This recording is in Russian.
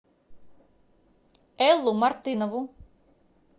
эллу мартынову